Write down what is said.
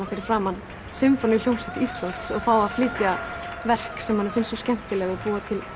fyrir framan sinfoníuhljómsveit Íslands og fá að flytja verk sem manni finnst svo skemmtileg og búa til